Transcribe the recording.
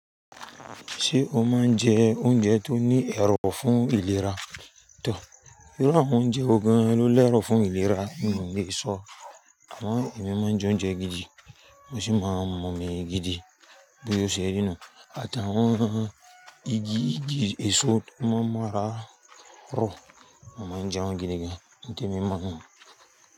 Ṣé o máa ń jẹ oúnjẹ tó ní ẹrọ̀ fún ìlera? Tọ̀, irú àwọn oúnjẹ wọ̀ gan ló lẹ́rọ̀ fún ìlera n lè ṣọ. Amo èmi máa ń jẹ oúnjẹ gidi, wọ́n sì máa ń mọ̀ mí gidi bóyá o ṣẹ́ ri nu àtàwọn igi èso tó máa ń mọra rọ̀, mo máa ń jẹ wọ́n gidi gan. Nígbẹ̀mí máa ń mu wọ́n.